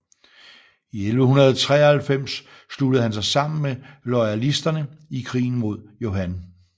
I 1193 sluttede han sig sammen med loyalisterne i krigen mod Johan